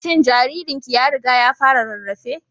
Shin jaririnki ya riga ya fara rarrafe?